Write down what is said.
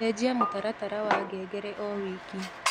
cenjĩa mũtaratara wa ngengere o wiki